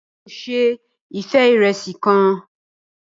Ràrá, Èmi ò se ife irẹsi kàn